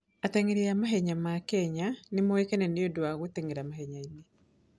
Ateng'eri a mahenya ma Kenya nĩ moĩkaine nĩ ũndũ wa gũteng'era mahenya-inĩ.